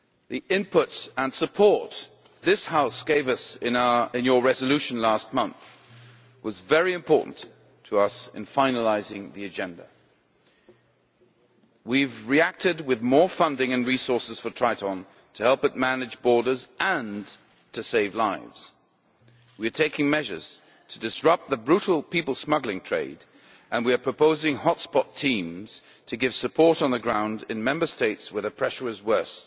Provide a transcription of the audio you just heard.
The input and support this House gave us in your resolution last month was very important to us in finalising the agenda. We have reacted with more funding and resources for Triton to help it manage borders and save lives. We are taking measures to disrupt the brutal people smuggling trade and we are proposing hotspot teams to give support on the ground in Member States where the pressure is worse,